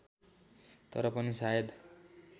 तर पनि सायद